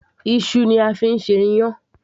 iṣu ni a fi ń ṣe iyán